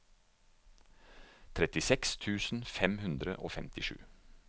trettiseks tusen fem hundre og femtisju